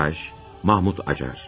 Montaj: Mahmut Acar.